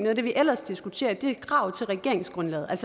af det vi ellers diskuterer er et krav til regeringsgrundlaget